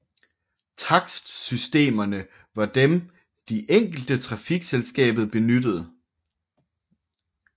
Takstsystemerne var dem de enkelte trafikselskabet benyttede